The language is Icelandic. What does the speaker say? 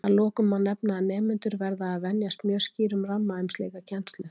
Að lokum má nefna að nemendur verða að venjast mjög skýrum ramma um slíka kennslu.